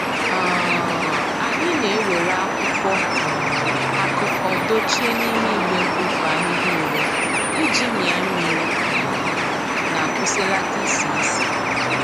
um Anyị na e were akwụkwọ um akụkọ dochie n'ime igbe mkpofu ahihia ure iji mia mmiri um na kwụsịlata isi isi